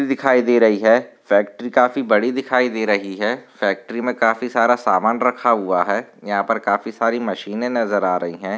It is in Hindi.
दिखाई दे रही है फॅक्टरी काफी बड़ी दिखाई दे रही है फॅक्टरी में काफी सारा सामान रखा हुआ है यहाँ पर काफी सारी मशीने नजर आ रही है।